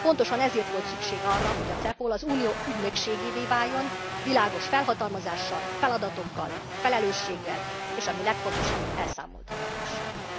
Pontosan ezért volt szükség arra, hogy a CEPOL az Unió ügynökségévé váljon, világos felhatalmazással, feladatokkal, felelősséggel és ami a legfontosabb, elszámoltathatósággal.